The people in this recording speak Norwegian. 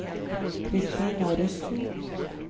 Kristina Rusten